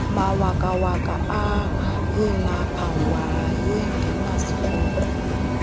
mawakawaka ayelapho wayengenasikrokro